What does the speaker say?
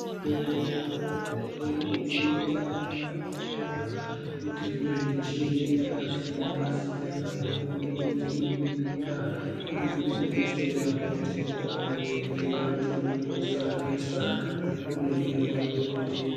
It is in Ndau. Muzvibhedhlera hurumende irikuedza nepainogona kutenge michini yakasiyana siyana kubve kune dzimweni nyika kuri kudetsera kuti kurapwa kwevanhu kusanetsa nekuringira kwezvitenda.